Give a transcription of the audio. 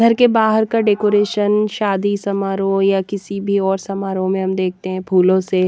घर के बाहर का डेकोरेशन शादी समारोह या किसी भी और समारोह में हम देखते हैं फूलों से--